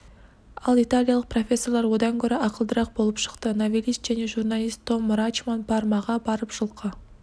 ал италиялық профессорлар одан гөрі ақылдырақ болып шықты новелист және журналист том рачман пармаға барып жылқы